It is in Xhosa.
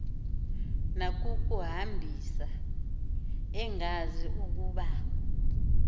nakukuhambisa engazi ukuba